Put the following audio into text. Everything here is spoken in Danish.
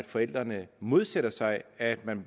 forældrene modsætter sig at man